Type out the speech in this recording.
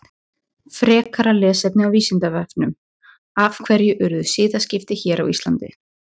Ósjaldan var barist um völdin en margir valdamanna voru vanhæfir.